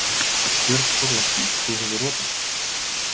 Björn Þorláksson: Þú hefur rotast?